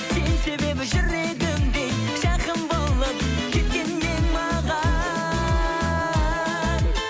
сен себебі жүрегімде жақын болып кеткен едің маған